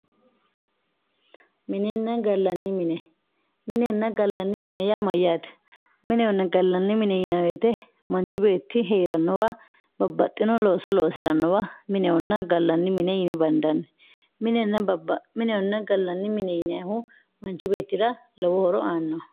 minenna gallanni mine minenna gallanni mine yaa mayyaate minehonna gallanni mine yinayii woyiite manchi beetti heerannowa babbaxxitino looso loosirannowa minehonna gallanni mine yine bandanni minehonna gallanni mine yinayiihu manchi beettira lowo horo aannoho.